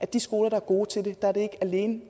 de skoler der er gode til det ikke alene